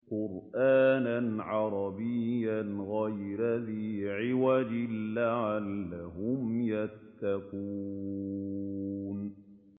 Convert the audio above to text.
قُرْآنًا عَرَبِيًّا غَيْرَ ذِي عِوَجٍ لَّعَلَّهُمْ يَتَّقُونَ